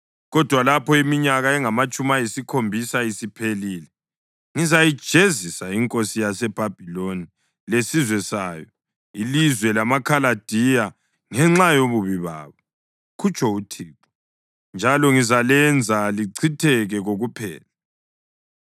Kodwa lapho iminyaka engamatshumi ayisikhombisa isiphelile, ngizayijezisa inkosi yaseBhabhiloni lesizwe sayo, ilizwe lamaKhaladiya, ngenxa yobubi babo,” kutsho uThixo, “njalo ngizalenza lichitheke kokuphela.